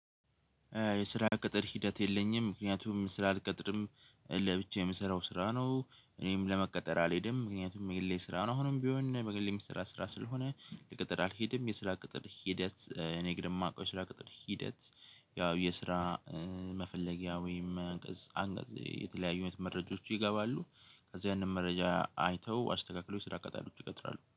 የስራ ቅጥር ሂደት የለኝም ምክንያቱም ስራ አልቀጥርም። ለብቻ የምሰራው ስራ ነው እኔም ለመቀጠር አልሄድም ምክንያቱም የሌለ ስራ ነው ምንም ቢሆን እኔ በግሌ የሚሰራ ስራ ስለሆነ። ለቅጥር አልሄድም የስራ ቅጥር ሂደት እኔ እንግዲህ ማውቀው ስራ ቅጥር ሂደት። ያው የስራ መፈለጊያ ወይም አንቀፅ አንቀፅ የተለያዩ መረጃዎች ይገባሉ። ከዛ ያንን መረጃ አይተው አስተካክለው ስራ ቀጣሪዎች ይቀጥራሉ